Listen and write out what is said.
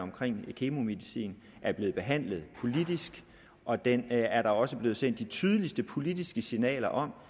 i kemomedicin er blevet behandlet politisk og den er der også blevet sendt de tydeligste politiske signaler om